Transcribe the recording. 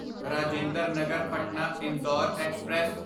Rajinder Nagar Patna Indore express